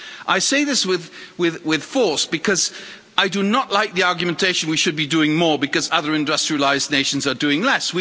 I say this with force, because I do not like the argument that we should be doing more because other industrialised nations are doing less.